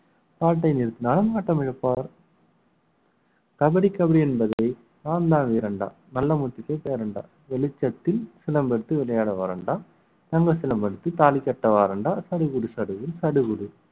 பாட்டை நிறுத்தினால் ஆட்டம் இழப்பார் கபடி கபடி என்பதை நான்தான் வீரன்டா நல்ல முத்துக்கு பேரன்டா வெளிச்சத்தில் சிலம்பெடுத்து விளையாட வாரண்டா விமர்சனப்படுத்தி தாலி கட்ட வாரண்டா சடுகுடு சடுகுடு சடுகுடு